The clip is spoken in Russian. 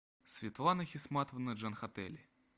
светлана хисматовна джанхатели